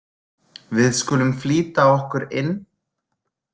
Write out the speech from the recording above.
Við skulum flýta okkur inn.